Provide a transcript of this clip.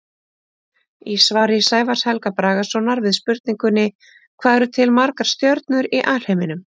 Í svari Sævars Helga Bragasonar við spurningunni Hvað eru til margar stjörnur í alheiminum?